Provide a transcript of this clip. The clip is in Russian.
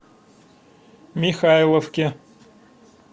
михайловке